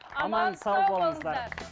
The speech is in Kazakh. аман сау болыңыздар